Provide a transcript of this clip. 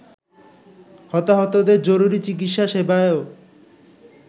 হতাহতদের জরুরি চিকিৎসা সেবায়ও